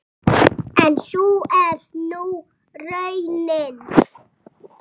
En sú er nú raunin.